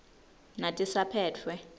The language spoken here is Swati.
natisaphetfwe